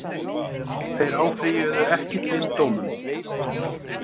Þeir áfrýjuðu ekki þeim dómum